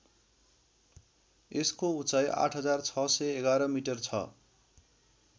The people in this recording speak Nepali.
यसको उचाइ ८६११ मिटर छ